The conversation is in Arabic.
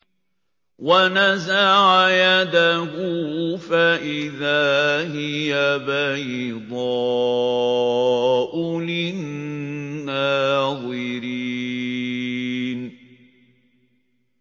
وَنَزَعَ يَدَهُ فَإِذَا هِيَ بَيْضَاءُ لِلنَّاظِرِينَ